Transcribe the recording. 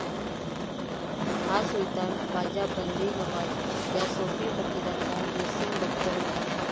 हा सुल्तान ख्वाजा बंदे नवाज या सोफी फकीराचा निस्सिम भक्त होता.